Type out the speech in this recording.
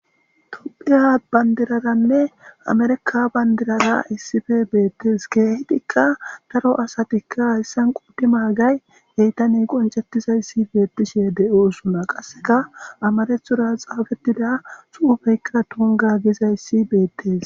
Tophiya bandiraranne amerikka bandirara issife beettees. KeehIdikka daro asatikka hayssan qoodi maagay yetane qoncettizayssi beettishe de7oosona qasseka amarethora xaafettida xuufeykkaa tungga gizayssi beettes.